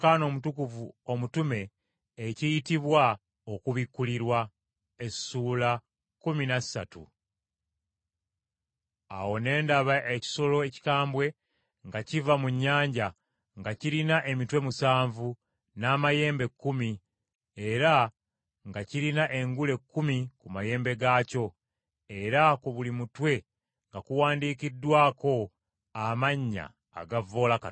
Awo ne ndaba ekisolo ekikambwe nga kiva mu nnyanja, nga kirina emitwe musanvu n’amayembe kkumi era nga kirina engule kkumi ku mayembe gaakyo, era ku buli mutwe nga kuwandiikiddwako amannya agavvoola Katonda.